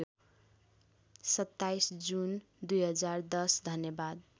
२७ June २०१० धन्यवाद